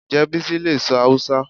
Ǹjẹ́ Bísí lè sọ Hausa